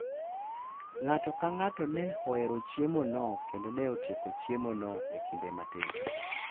Ng’ato ka ng’ato ne ohero chiemono kendo ne otieko chiemono e kinde matin.